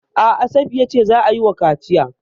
A'a, Safiya ce za a yi wa kaciya.